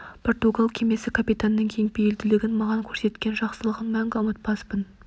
португал кемесі капитанының кеңпейілділігін маған көрсеткен жақсылығын мәңгі ұмытпаспын